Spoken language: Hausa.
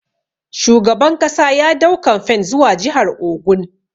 Shugaban kasa ya dau kamfen zuwa jihar Ogun.